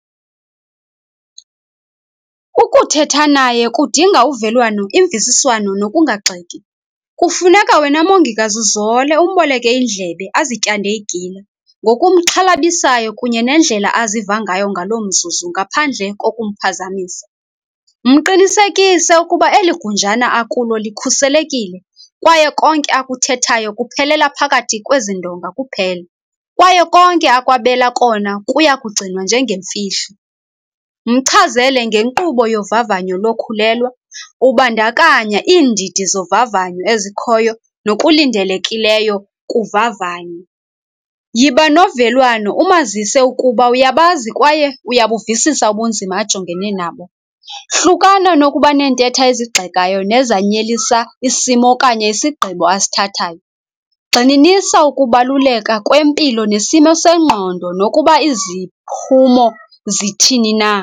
Ukuthetha naye kudinga uvelwano imvisiswano nokungagxeki. Kufuneka wena mongikazi uzole umboleke indlebe azityande igila ngokumxhalabisayo kunye nendlela aziva ngayo ngaloo mzuzu ngaphandle kokumphazamisa. Mqinisekise ukuba eligunjana akulo likhuselekile kwaye konke akuthethayo kuphelela phakathi kwezi ndonga kuphela kwaye konke akwabela kona kuyakugcinwa njengemfihlo. Mchazele ngenkqubo yovavanyo lokhulelwa ubandakanya iindidi zovavanyo ezikhoyo nokulindelekileyo kuvavanyo. Yiba novelwano umazise ukuba uyabazi kwaye uyabuvisisa ubunzima ajongene nabo. Hlukana nokuba neentetha ezigxekayo nezanyelisa isimo okanye isigqibo asithathayo. Gxininisa ukubaluleka kwempilo nesimo sengqondo nokuba iziphumo zithini na.